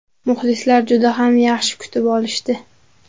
Muxlislar juda ham yaxshi kutib olishdi.